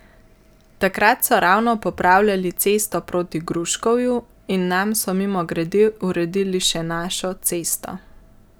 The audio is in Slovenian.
Takrat so ravno popravljali cesto proti Gruškovju in nam so mimogrede uredili še našo cesto.